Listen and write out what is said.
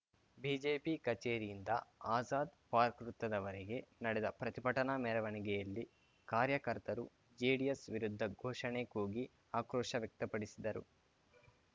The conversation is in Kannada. ಬಿಜೆಪಿ ಕಚೇರಿಯಿಂದ ಆಜಾದ್‌ ಪಾರ್ಕ್ ವೃತ್ತದವರೆಗೆ ನಡೆದ ಪ್ರತಿಭಟನಾ ಮೆರವಣಿಯಲ್ಲಿ ಕಾರ್ಯಕರ್ತರು ಜೆಡಿಎಸ್‌ ವಿರುದ್ಧ ಘೋಷಣೆ ಕೂಗಿ ಆಕ್ರೋಶ ವ್ಯಕ್ತಪಡಿಸಿದರು